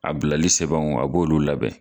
A bilali sɛbɛnw a b'olu labɛn